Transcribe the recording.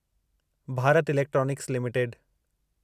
Bharat electronics limited